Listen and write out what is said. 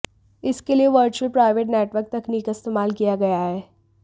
इसके लिए virtual private network तकनीक का इस्तेमाल किया गया है